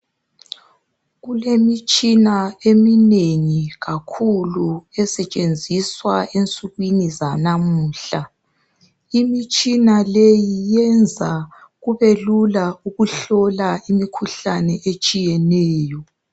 Kulemitshina eminengi kakhulu esetshenziswa ensukwini zanamuhla. Imitshina leyi yenza kube lula ukuhlola imikhuhlane etshiyeneyo.